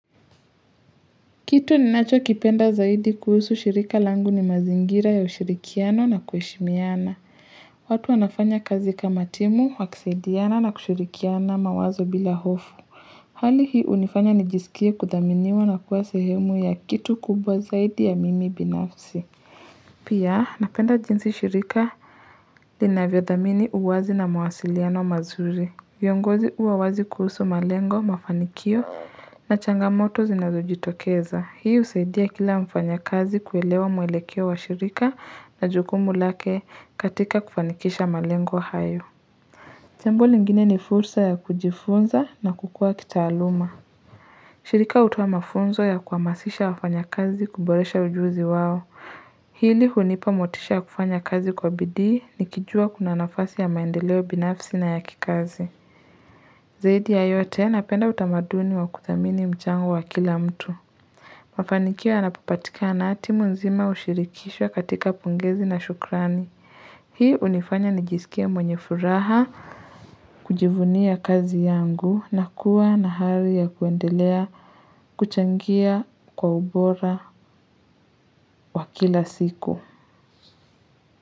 Kitu ninacho kipenda zaidi kuhusu shirika langu ni mazingira ya ushirikiano na kuheshimiana. Watu wanafanya kazi kama timu, wakisaidiana na kushirikiana mawazo bila hofu. Hali hii hunifanya nijisikia kuthaminiwa na kuwa sehemu ya kitu kubwa zaidi ya mimi binafsi. Pia napenda jinsi shirika linavyothamini uwazi na mawasiliano mazuri. Vyongozi huwa wazi kuhusu malengo, mafanikio na changamoto zinazo jitokeza. Hii husaidia kila mfanya kazi kuelewa mwelekeo wa shirika na jukumu lake katika kufanikisha malengo hayo. Jambo lingine ni fursa ya kujifunza na kukua kitaaluma. Shirika hutoa mafunzo ya kuhamasisha wafanyakazi kuboresha ujuzi wao. Hili hunipa motisha ya kufanya kazi kwa bidhii ni kijua kuna nafasi ya maendeleo binafsi na ya kikazi. Zaidi yayote napenda utamaduni wa kuthamini mchango wa kila mtu. Mafanikio yanapopatika na timu nzima hushirikishwa katika pongezi na shukrani. Hii hunifanya nijisikie mwenye furaha kujivunia kazi yangu na kuwa na hari ya kuendelea kuchangia kwa ubora wa kila siku.